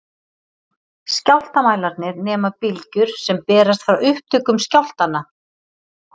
Skjálftamælarnir nema bylgjur sem berast frá upptökum skjálftanna.